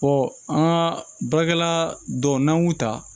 an ka baarakɛla dɔw n'an k'u ta